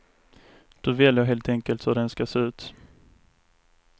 Du väljer helt enkelt hur den ska se ut.